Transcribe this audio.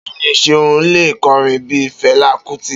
Beeni Seun le korin bii Fela Kuti.